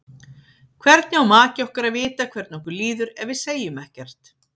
Hvernig á maki okkar að vita hvernig okkur líður ef við segjum ekkert?